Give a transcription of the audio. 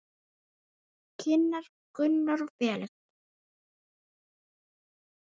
Kynnar Gunnar og Felix.